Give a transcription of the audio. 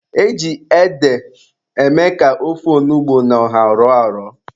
E ji ede eme ka ofe onugbu na ọha rọọ arọ.